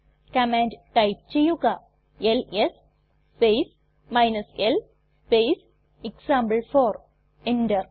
command type ചെയ്യുക LS space l space example four enter